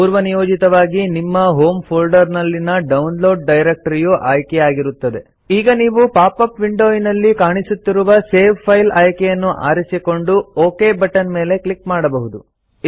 ಪೂರ್ವನಿಯೋಜಿತವಾಗಿ ನಿಮ್ಮ ಹೋಮ್ ಫೋಲ್ಡರ್ನಲ್ಲಿನ ಡೌನ್ಲೋಡ್ ಡೈರೆಕ್ಟರಿಯು ಆಯ್ಕೆಯಾಗಿರುತ್ತದೆ ಈಗ ನೀವು ಪಾಪ್ ಅಪ್ ವಿಂಡೋನಲ್ಲಿ ಕಾಣಿಸುತ್ತಿರುವ ಸೇವ್ ಫೈಲ್ ಆಯ್ಕೆಯನ್ನು ಆರಿಸಿಕೊಂಡು ಒಕ್ ಬಟ್ಟನ್ ಮೇಲೆ ಕ್ಲಿಕ್ ಮಾಡಬಹುದು